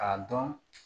K'a dɔn